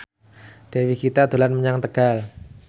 Dewi Gita dolan menyang Tegal